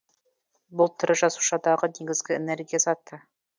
бұл тірі жасушадағы негізгі энергия заты